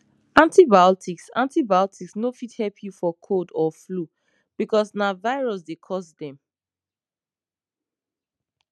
antibiotics antibiotics no fit help you for cold or flu because na virus dey cause dem